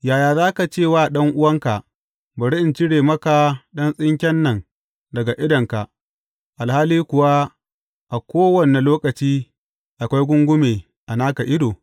Yaya za ka ce wa ɗan’uwanka, Bari in cire maka ɗan tsinken nan daga idonka,’ alhali kuwa a kowane lokaci akwai gungume a naka ido?